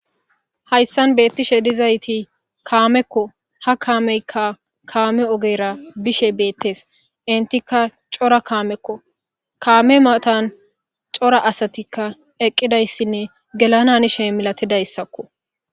hayssan beettishe dizayti kaamekko ha kaameykka kaame ogeyra bishe beettes intika cora kaamekko kaame matan cora asatikka eqqidayssinne gelananishe milatidayssakko